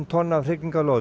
tonn af